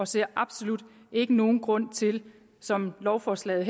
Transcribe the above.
ser absolut ikke nogen grund til som lovforslaget